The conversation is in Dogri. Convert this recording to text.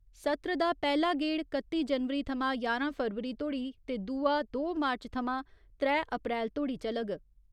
सत्र दा पैह्‌ला गेड़ कत्ती जनवरी थमां ञारां फरवरी तोड़ी ते दूआ दो मार्च थमां त्रै अप्रैल तोड़ी चलग।